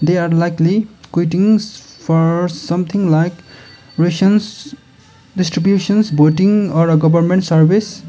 they are likely for something like distributions or a government service.